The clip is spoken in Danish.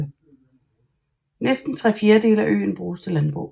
Næsten tre fjerdedele af øen bruges til landbrug